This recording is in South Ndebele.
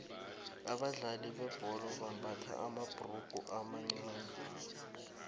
abadlali bebhola bambatha amabhurugu amancani